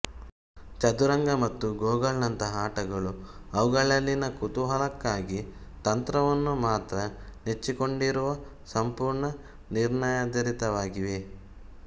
ಚದುರಂಗ ಮತ್ತು ಗೊಗಳಂಥ ಆಟಗಳು ಅವುಗಳಲ್ಲಿನ ಕುತೂಹಲಕ್ಕಾಗಿ ತಂತ್ರವನ್ನು ಮಾತ್ರ ನೆಚ್ಚಿಕೊಂಡಿರುವ ಸಂಪೂರ್ಣ ನಿರ್ಣಯಾಧರಿತವಾಗಿವೆ